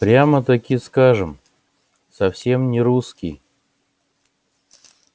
прямо-таки скажем совсем не русский